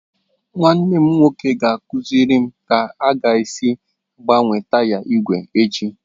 Nwanne m nwoke ga-akụziri m ka m ga-esi gbanwee taya igwe echi.